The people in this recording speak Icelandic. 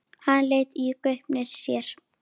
Hann leit í gaupnir sér.